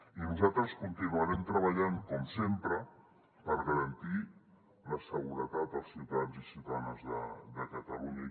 i nosaltres continuarem treballant com sempre per garantir la seguretat als ciutadans i ciutadanes de catalunya